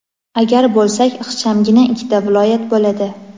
agar bo‘lsak ixchamgina ikkita viloyat bo‘ladi.